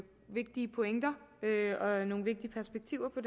vigtige pointer og nogle vigtige perspektiver på